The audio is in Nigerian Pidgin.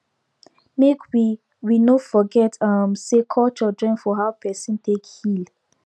make we we no forget um say culture join for how person take heal